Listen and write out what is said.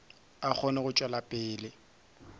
a kgone go tšwela pele